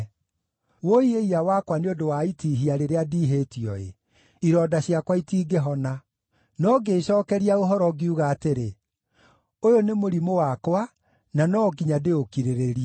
Wũi-ĩiya-wakwa, nĩ ũndũ wa itihia rĩrĩa ndiihĩtio-ĩ! Ironda ciakwa itingĩhona! No ngĩĩcookeria ũhoro ngiuga atĩrĩ, “Ũyũ nĩ mũrimũ wakwa, na no nginya ndĩũkirĩrĩrie.”